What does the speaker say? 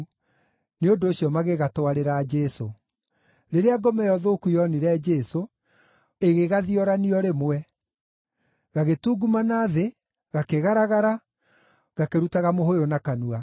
Nĩ ũndũ ũcio magĩgatwarĩra Jesũ. Rĩrĩa ngoma ĩyo thũku yoonire Jesũ, ĩgĩgathiorania o rĩmwe. Gagĩtungumana thĩ, gakĩgaragara, gakĩrutaga mũhũyũ na kanua.